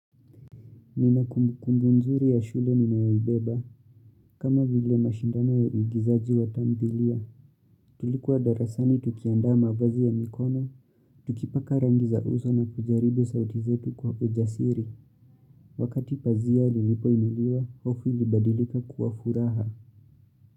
Nina kumbu kumbu nzuri ya shule ninayoibeba kama vile mashindano ya uigizaji wa tamthilia Tulikuwa darasani tukiandaa mavazi ya mikono. Tukipaka rangi za uso na kujaribu sauti zetu kwa ujasiri Wakati pazia lilipo inuliwa, hofu ilibadilika kuwa furaha.